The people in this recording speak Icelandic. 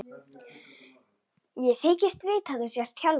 Ég þykist vita að þú sért Hjálmar.